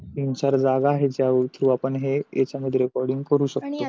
तीन चार जागा असा आहे ज्या याचा एवजी याचा मध्ये recording करू शकतो. आणि याच्यावर